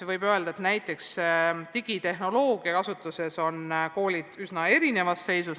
Võib öelda, et digitehnoloogia kasutuse poolest on koolid üsna erinevas seisus.